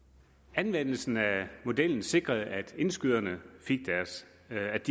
anvendelsen af modellen sikrede at indskyderne